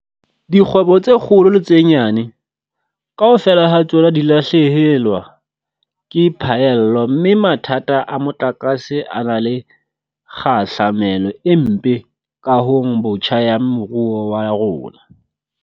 Dikgwebo tse kgolo le tse nyane, kaofela ha tsona di lahlehelwa ke phaello mme mathata a motlakase a na le kgahlamelo e mpe kahong botjha ya moruo wa rona.